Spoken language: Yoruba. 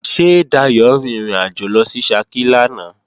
Ṣé Dayò rin ìrìnàjò lọ sí Ṣakí lánàá?